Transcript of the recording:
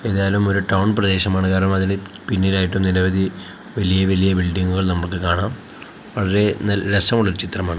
ഏതായാലും ഒരു ടൗൺ പ്രദേശമാണ് കാരണം അതില് പിന്നിലായിട്ട് നിരവധി വലിയ വലിയ ബിൽഡിങ്ങുകൾ നമുക്ക് കാണാം വളരെ നൽ രസമുള്ളൊരു ചിത്രമാണ്.